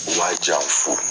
Waa jan fo